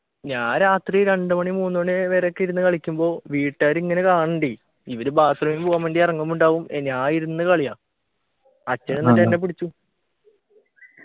ഞാൻ രാത്രി രണ്ടു മണി മൂന്നുമണി വരെയൊക്കെ ഇരുന്ന് കഴിക്കുമ്പോ വീട്ടുകാർ ഇങ്ങനെ കാണുണ്ടേ ഇവരു bathroom ൽ പോകാൻ വേണ്ടി ഇറങ്ങുമ്പോ ഉണ്ടാവും ഏർ ഞാൻ ഇരുന്ന് കളിയാ അച്ഛൻ എന്നിട്ട് എന്നെ പിടിച്ചു